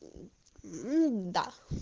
да